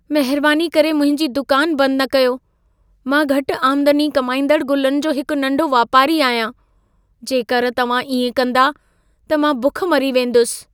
महिरबानी करे मुंहिंजी दुकान बंद न कयो। मां घटि आमदनी कमाईंदड़ गुलनि जो हिक नंढो वापारी आहियां। जेकर तव्हां इएं कंदा त मां बुख मरी वेंदसि।